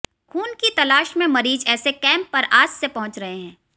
खून की तलाश में मरीज़ ऐसे कैम्प पर आस से पहुंच रहे हैं